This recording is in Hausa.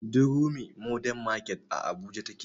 Durumi mordern market a abuja take